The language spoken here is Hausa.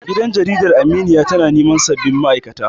Gidan Jaridar Aminiya tana neman sabbin ma'aikata.